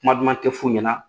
Kuma duman tɛ f'u ɲɛna